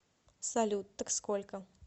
салют так сколько